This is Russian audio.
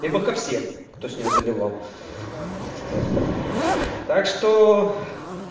либо ко всем кто с ним заливал так что